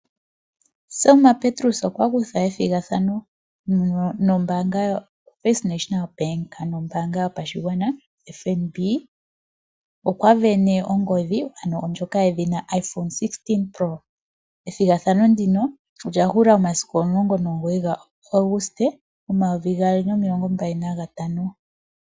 Selma Petrus okwa kutha ethigathano no mbaanga yo First National Bank ano ombaaga yopashigwana FNB. Okwa vene ongodhi ano ndjoka yedhina iPhone 16 pro ethigathano nduno olyahula momasiku shogali 19 August 2025.